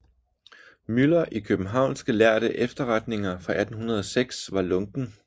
Müller i Kiøbenhavnske Lærde Efterretninger for 1806 var lunken